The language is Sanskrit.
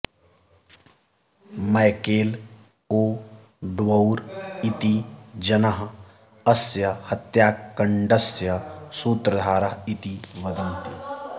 मैकेल् ओ ड्वौर् इति जनः अस्य हत्याकण्डस्य सूत्रधारः इति वदन्ति